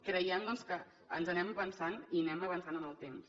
creiem que ens anem avançant i anem avançant en el temps